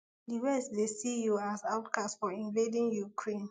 di west dey see you as outcast for invading ukraine